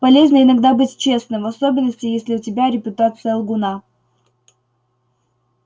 полезно иногда быть честным в особенности если у тебя репутация лгуна